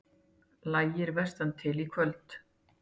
Lægir vestantil Í kvöld